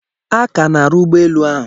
A ka na-arụ ụgbọ elu ahụ.